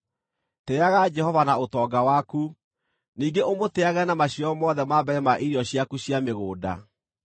Tĩĩaga Jehova na ũtonga waku, ningĩ ũmũtĩĩage na maciaro mothe ma mbere ma irio ciaku cia mĩgũnda;